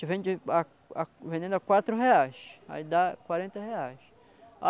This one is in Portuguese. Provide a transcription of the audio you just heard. A gente vende a a vendendo a quatro reais, aí dá quarenta reais.